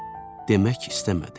Demək istəmədi.